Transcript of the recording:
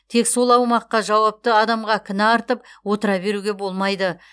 тек сол аумаққа жауапты адамға кінә артып отыра беруге болмайды